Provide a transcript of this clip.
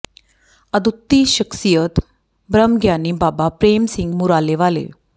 ਅਦੁੱਤੀ ਸ਼ਖ਼ਸੀਅਤ ਬ੍ਰਹਮ ਗਿਆਨੀ ਬਾਬਾ ਪ੍ਰੇਮ ਸਿੰਘ ਮੁਰਾਲੇ ਵਾਲੇ